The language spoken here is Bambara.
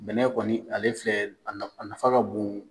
Bɛnɛ kɔni ale filɛ a nafa ka bon.